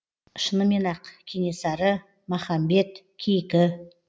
шынымен ақ кенесары махамбет кейкі